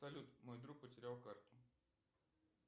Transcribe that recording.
салют мой друг потерял карту